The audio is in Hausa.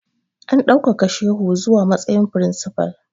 A ɗaukaka shehu zuwa matsayin firinsifa!